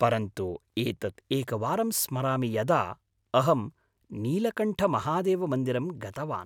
परन्तु एतत् एकवारं स्मरामि यदा अहं नीलकण्ठमहादेवमन्दिरं गतवान्।